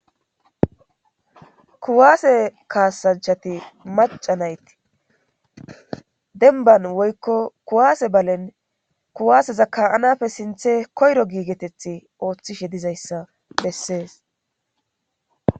kuwaase kaasanchati maca nayti denban woykko kuwaase balen kuwaaseza ka7anafe sinthe koyro giigeteth ooththishe dizayssa bessees